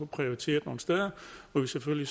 prioriteret nogle steder hvor vi selvfølgelig